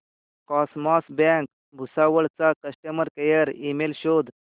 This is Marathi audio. कॉसमॉस बँक भुसावळ चा कस्टमर केअर ईमेल शोध